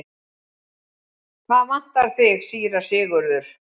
Hvað vantar þig, síra Sigurður?